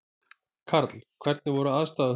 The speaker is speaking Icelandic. Karl: Hvernig voru aðstæður þarna?